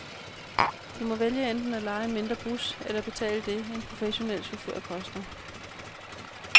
De må vælge enten at leje en mindre bus eller betale det, en professionel chauffør koster.